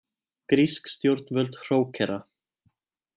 Grísk stjórnvöld hrókera